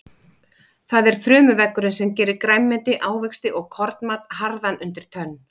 Það er frumuveggurinn sem gerir grænmeti, ávexti og kornmat harðan undir tönn.